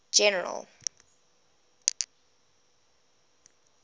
general